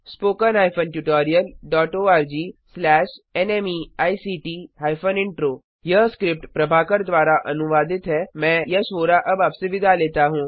spoken hyphen tutorial dot O R G slash नमेक्ट hyphen intro यह script Prabhakar द्वारा अनुवादित है मैं यश वोरा आपसे विदा लेता हूँ